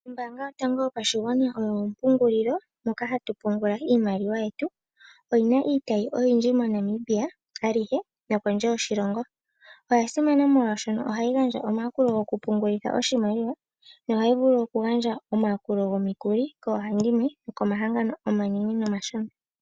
Ombaanga yotango yopashigwana oyo ompungulilo mpoka hapu pungulwa iimaliwa. Oyi na iitayi oyindji moNamibia alyihe, osho wo kondje yoshilongo. Oya simana unene oshoka ohayi gandja omayakulo mokupungulitha iimaliwa, osho wo okugandja omayakulo gomikuli koohandimwe nokomahangano omanene nomashona.